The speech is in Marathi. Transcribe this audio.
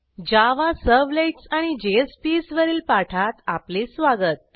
जावा सर्व्हलेट्स आणि JSPsवरील पाठात आपले स्वागत